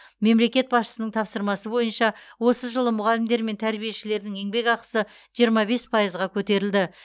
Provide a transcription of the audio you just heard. мемлекет басшысының тапсырмасы бойынша осы жылы мұғалімдер мен тәрбишілердің еңбекақысы жиырма бес пайызға көтерілді